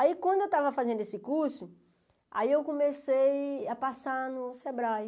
Aí quando eu estava fazendo esse curso, aí eu comecei a passar no Sebrae.